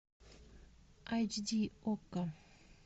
айч ди окко